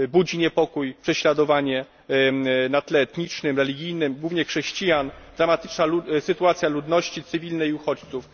Niepokój budzi prześladowanie na tle etnicznym, religijnym, głównie chrześcijan, dramatyczna sytuacja ludności cywilnej i uchodźców.